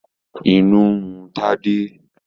Inú ń run Tádé.